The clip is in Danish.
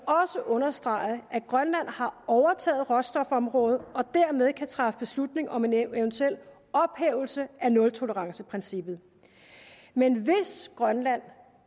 understrege at grønland har overtaget råstofområdet og dermed kan træffe beslutning om en eventuel ophævelse af nultoleranceprincippet men hvis grønland